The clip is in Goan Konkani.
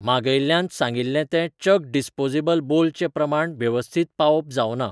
मागयिल्ल्यांत सांगिल्लें तें चक डिस्पोजेबल बोल चें प्रमाण वेवस्थित पावोवप जावंना .